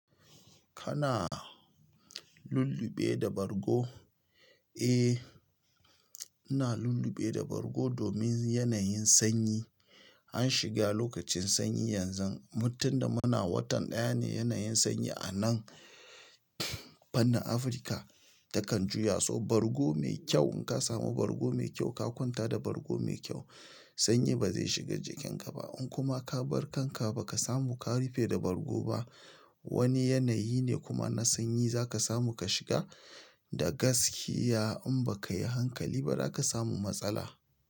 Kana lulluɓe da bargo? Eh, ina lulluɓe da bargo domin yanayin sanyi. An shiga lokacin sanyi yanzu, mutum da muna watan ɗaya ne yanayin sanyi a nan fannin Afirka takan juya, so bargo mai kyau in ka samu bargo mai kyau ka kwanta da bargo mai kyau, sanyi ba zai shiga jikinka ba. In kuma ka bar kanka ba ka samu ka rufe da bargo ba, wani yanayi ne kuma na sanyi za ka samu ka shiga da gaskiya in ba ka yi hankali ba, za ka samu matsala.